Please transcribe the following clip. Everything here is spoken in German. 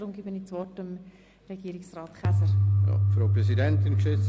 Ich gebe deshalb des Wort Regierungsrat Käser.